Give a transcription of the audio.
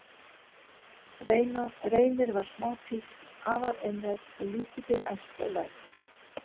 Reynir var smá písl, afar einrænn og lítið fyrir ærsl og læti.